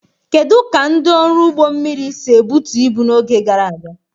Kedu ka ndị ọrụ ụgbọ mmiri si ebutu ibu n'oge gara aga?